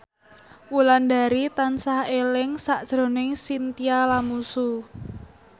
Wulandari tansah eling sakjroning Chintya Lamusu